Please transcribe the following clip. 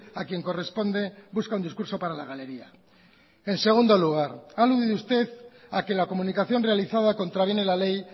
a quien corresponde busca un discurso para la galería en segundo lugar ha aludido usted a que la comunicación realizada contraviene la ley